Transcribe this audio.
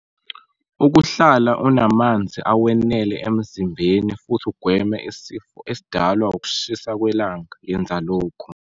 Ukuhlala unamanzi awenele emzimbeni futhi ugweme isifo esidalwa ukushisa kwelanga yenza lokhu.